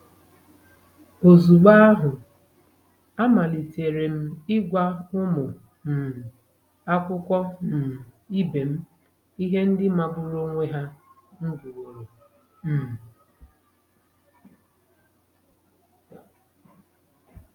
Ozugbo ahụ, amalitere m ịgwa ụmụ um akwụkwọ um ibe m ihe ndị magburu onwe ha m gụworo. um